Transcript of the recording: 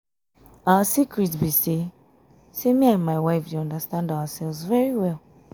our secret be um say um say me um and my wife dey understand ourselves very well